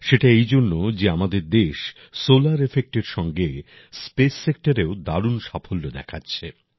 সেটা এইজন্য যে আমাদের দেশ সোলার সেক্টরের সঙ্গে স্পেস সেক্টরেও দারুণ সাফল্য দেখাচ্ছে